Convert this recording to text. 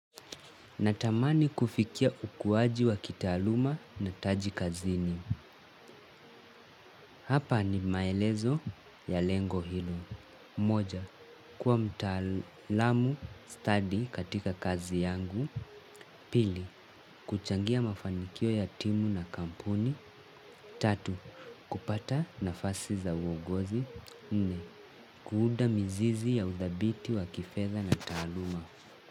Natamani kufikia ukuwaji wa kitaaluma na taji kazini. Hapa ni maelezo ya lengo hilo. Moja, kuwa mtaalamu stadi katika kazi yangu. Pili, kuchangia mafanikio ya timu na kampuni. Tatu, kupata nafasi za uogozi nne, kuuda mizizi ya uthabiti wa kifedha na taaluma.